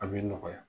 A bɛ nɔgɔya